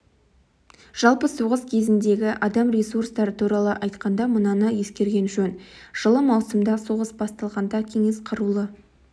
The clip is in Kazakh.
жалпы соғыс кезіндегі адам ресурстары туралы айтқанда мынаны ескерген жөн жылы маусымда соғыс басталғанда кеңес қарулы